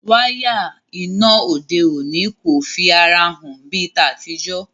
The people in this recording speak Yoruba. Waya iná òde òni o fí àrà hàn bí ta tí jo.